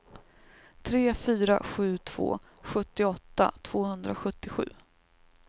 tre fyra sju två sjuttioåtta tvåhundrasjuttiosju